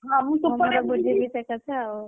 ହଁ ମୁଁ ସେପଟେ ବୁଝିକି, ସେକଥା ଆଉ।